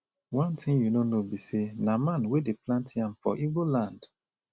one thing you no know be say na man wey dey plant yam for igbo land